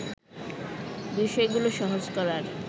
বিষয়গুলো সহজ করার